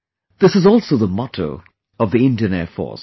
This is also the motto of the Indian Air Force